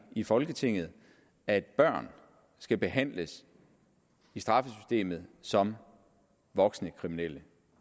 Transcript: i folketinget at børn skal behandles i straffesystemet som voksne kriminelle